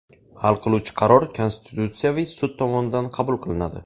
Hal qiluvchi qaror Konstitutsiyaviy sud tomonidan qabul qilinadi.